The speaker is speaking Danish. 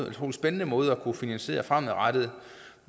utrolig spændende måde at kunne finansiere fremadrettet